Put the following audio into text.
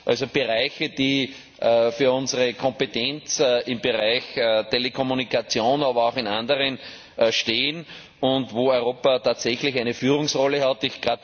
also Bereiche, die für unsere Kompetenz im Bereich Telekommunikation, aber auch in anderen Bereichen stehen, und wo Europa tatsächlich eine Führungsrolle hat.